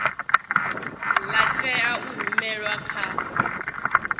la tea u rumelwa kha